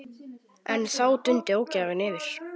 En þá dundi ógæfan yfir.